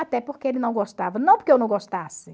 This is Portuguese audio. Até porque ele não gostava, não porque eu não gostasse.